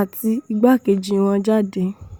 àti igbákejì wọn jáde